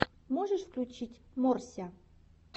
можешь включить морся